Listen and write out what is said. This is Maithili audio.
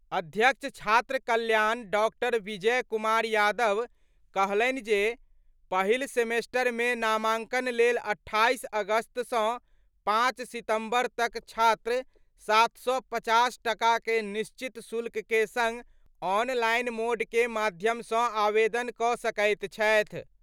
अध्यक्ष छात्र कल्याण डॉ. विजय कुमार यादव कहलनि जे, पहिल सेमेस्टर मे नामांकन लेल 28 अगस्त सं 5 सितंबर तक छात्र 750 टका के निश्चित शुल्क के संग ऑनलाइन मोड के माध्यम सं आवेदन क' सकैत छथि।